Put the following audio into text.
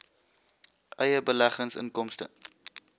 eie beleggings inkomste